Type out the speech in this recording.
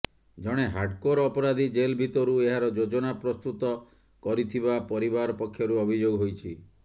ଜଣେ ହାର୍ଡକୋର ଅପରାଧୀ ଜେଲ ଭିତରୁ ଏହାର ଯୋଜନା ପ୍ରସ୍ତୁତ କରିଥିବା ପରିବାର ପକ୍ଷରୁ ଅଭିଯୋଗ ହୋଇଛି